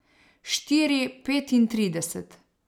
Štiri petintrideset.